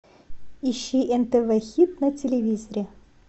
ищи нтв хит на телевизоре